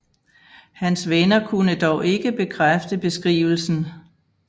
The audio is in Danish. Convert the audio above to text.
Hans venner kunne dog ikke bekræfte beskrivelsen